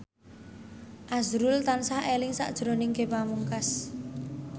azrul tansah eling sakjroning Ge Pamungkas